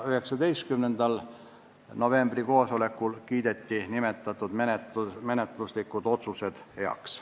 19. novembri koosolekul kiideti nimetatud menetluslikud otsused heaks.